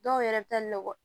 Dɔw yɛrɛ bɛ taa nɔgɔn